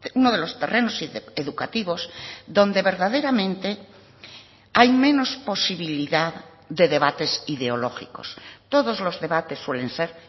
uno de los terrenos educativos donde verdaderamente hay menos posibilidad de debates ideológicos todos los debates suelen ser